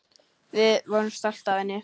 Við vorum stolt af henni.